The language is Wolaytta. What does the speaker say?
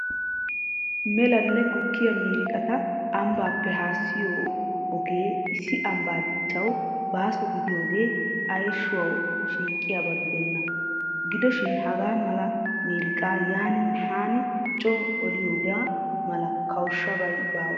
Melanne gukkiya miiriqata ambbaappe haassiyo ogee is ambaa dichcchawu baaso gidiyoogee ayshshawu shiiqqiyaba gidenna. Gidoshiin hagaa mala miriqaa yaaninne haani coo oliyoogaa mala kawushabay bawa.